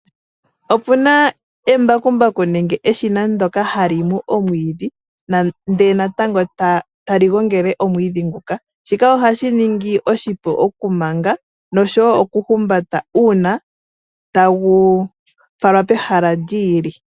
Opuna embakumbaku nenge eshina ndyoka ha li mu omwiidhi, ndele natango tali gongele omwiidhi nguka. Shika ohashi ningi oshipu okumanga nosho wo okuhumbata uuna tagu falwa pehala li ili.